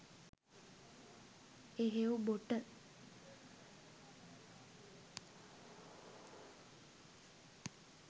එහෙව් බොට